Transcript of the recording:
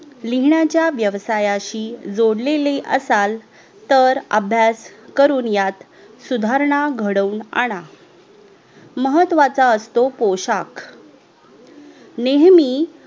लिहिण्याच्या वेवसायाशी जोडलेले असाल तर अभ्यास करून यात सुधारणा घडूऊन आणा महत्वाचा असतो पोशाख नेहमी